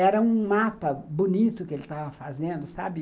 Era um mapa bonito que ele estava fazendo, sabe?